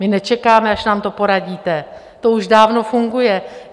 My nečekáme, až nám to poradíte, to už dávno funguje.